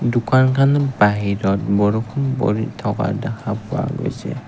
দোকানখানৰ বাহিৰত বৰষুণ পৰি থকা দেখা পোৱা গৈছে।